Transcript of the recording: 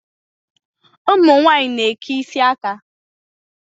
Ụmụ nwaanyị na-eke isi aka.